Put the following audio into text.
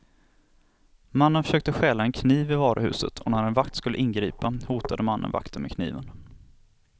Mannen försökte stjäla en kniv i varuhuset och när en vakt skulle ingripa hotade mannen vakten med kniven.